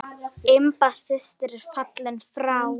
Imba systir er fallin frá.